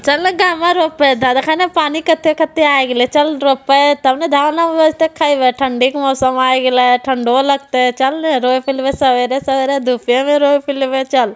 चल रे पानी कथे-कथे आ गइल लो चल रोपे तब न धान होइबे त खइबे ठंडी के मौसम आ गइले ठंडो लगते चल रे सबरे-सबरे चल।